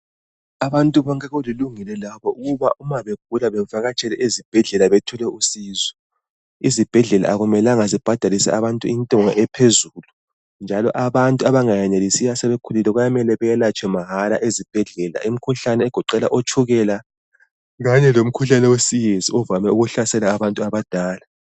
Abantu bonke kulilungelo ukuba uma begula bevakatshele ezibhedlela bethole usizo. Ezibhedlela akumelanga zibhadalise abantu intengo ephezulu njalo abantu abengenelisiyo asebekhulile kuyamele belatshwe mahala ezibhedlela imikhuhlane egoqela otshukela kanye lomkhuhlane wesiyezi ovame ukuhlasela abantu abadala.